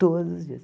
Todos os dias.